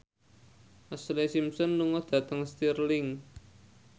Ashlee Simpson lunga dhateng Stirling